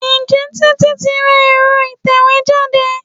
Ǹjẹ́ Títí tí ra èro ìtẹ̀wẹ́ jáde?